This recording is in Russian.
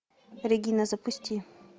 регина запусти